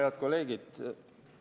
Head kolleegid!